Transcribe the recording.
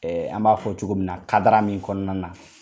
Ɛɛ an b'a fɔ cogo min na kadara min kɔnɔna na